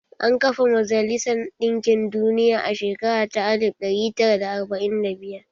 An kafa majalisar ɗinkin duniya a shekara ta alif ɗari tara da arba'in da biyar.